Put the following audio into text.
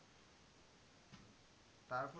তারপর